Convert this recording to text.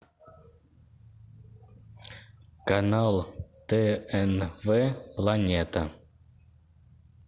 канал тнв планета